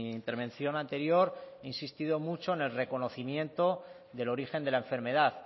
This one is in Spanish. intervención anterior he insistido mucho en el reconocimiento del origen de la enfermedad